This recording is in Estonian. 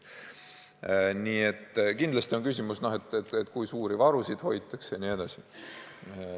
Aga kindlasti on küsimus, kui suuri varusid hoitakse, jne.